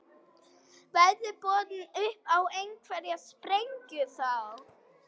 Verður boðið upp á einhverja sprengju þá?